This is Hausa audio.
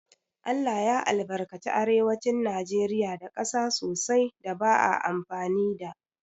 ALLAH ya albarkace arewacin najeriya da ƙasa sosai da ba a amfani da